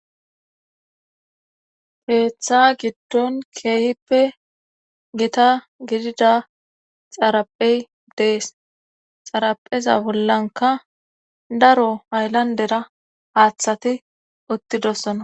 Keeththa giddon keehippe gita gidida xaraphey dees xarapheza bollanka daro hayllandera haaththati uttidossona.